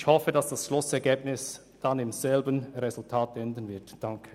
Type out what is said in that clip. Ich hoffe, dass das Schlussergebnis so aussieht, wie ich es skizziert habe.